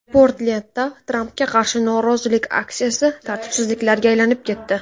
Portlendda Trampga qarshi norozilik aksiyasi tartibsizliklarga aylanib ketdi.